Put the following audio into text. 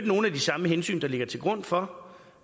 nogle af de samme hensyn der ligger til grund for